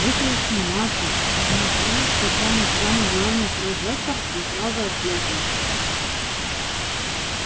вышла сниматься посмотрела случайно в самый главный прожектор и сразу ослепла